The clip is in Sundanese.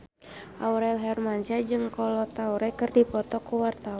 Aurel Hermansyah jeung Kolo Taure keur dipoto ku wartawan